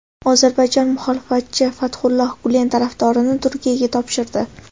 Ozarbayjon muxolifatchi Fathulloh Gulen tarafdorini Turkiyaga topshirdi.